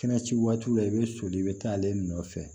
Kɛnɛ ci waatiw la i bɛ soli i bɛ taa ale nɔfɛ